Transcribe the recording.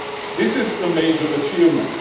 This is a major achievement.